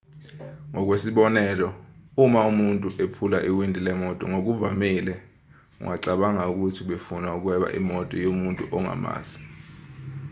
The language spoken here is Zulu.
ngokwesibonelo uma ubona umuntu ephula iwindi lemoto ngokuvamile ungacabanga ukuthi ubefuna ukweba imoto yomuntu ongamazi